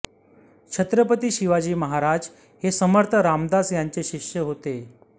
छत्रपती शिवाजी महाराज हे समर्थ रामदास यांचे शिष्य होते